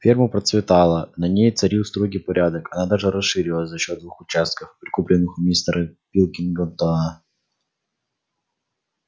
ферма процветала на ней царил строгий порядок она даже расширилась за счёт двух участков прикупленных у мистера пилкингтона